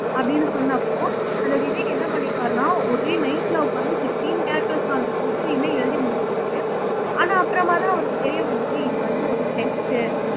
அப்படின்னு சொன்னப்போ அந்த விவேக் என்ன பண்ணியிருக்காருன்னா ஒரே நைட்ல உட்கார்ந்து பிப்ட்டின் கேரெக்டர்ஸ்க்கான ஸ்ரிப்ட்ஸயுமே எழுதி முடிச்சிருக்காரு ஆனா அப்புறமாதான், அவருக்கு தெரிய வந்திருக்கு. இது வந்து, ஒரு டெஸ்ட்